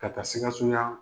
Ka taa sikasoyan